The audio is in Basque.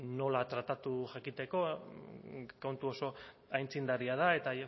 nola tratatu jakiteko kontu oso aitzindaria da eta